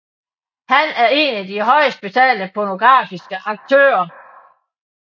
Han er en af de højest betalte pornografiske aktører